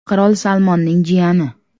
Qirol Salmonning jiyani.